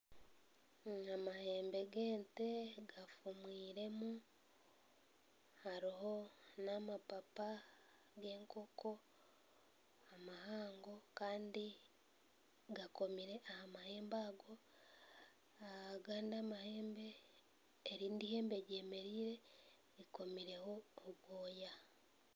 Amahembe g'ente gafumwiremu hariho n'amapaapa g'ekoonko mahango kandi gakomire aha mahembe ago erindi ihembe ryemereire rikomireho obwoya.